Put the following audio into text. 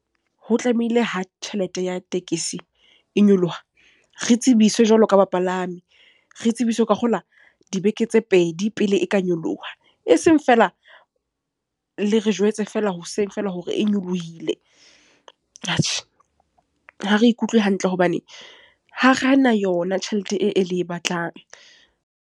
Ho tlamehile ha tjhelete ya tekesi e nyoloha, re tsebiswe jwalo ka bapalami. Re tsebiswe ke a kgolwa dibeke tse pedi pele e ka nyoloha. E seng feela, le re jwetse fela hoseng feela hore e nyolohile. Atjhe, ha re ikutlwe hantle hobane ha ra na yona tjhelete e le e batlang.